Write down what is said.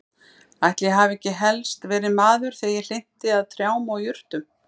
Ætli ég hafi ekki helst verið maður þegar ég hlynnti að trjám og jurtum.